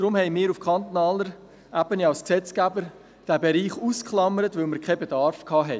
Darum haben wir diesen Bereich als Gesetzgeber auf kantonaler Ebene ausgeklammert, weil wir keinen Bedarf hatten.